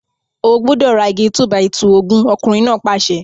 O gbúdọ̀ ra igi 2-by-2 ogún! ọkùnrin náà pàṣẹ.